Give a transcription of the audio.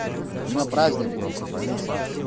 у меня праздник просто пойми сам